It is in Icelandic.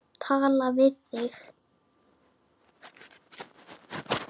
Tala við þig.